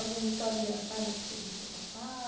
Alguma história engraçada que você deixou passar?